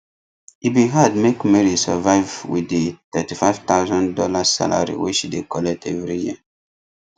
e bin hard make mary survive wit di thirty five thousand dollars salary wey she dey collect every year